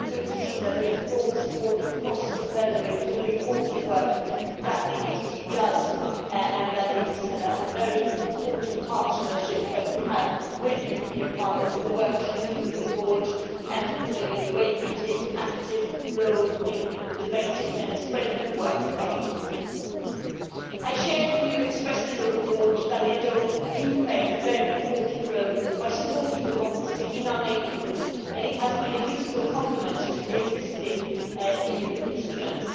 is very good to see that there is broad support across the plenary for the important work that the EED does and that the partnership we have with Parliament is very important the work Members do on the Board and the way they take an active role in debating and spreading the work of the EED. I share the view expressed in the report that the Endowment plays a very important role by supporting democracy in our neighbourhood, and it has been a useful complement to the existing EU instruments.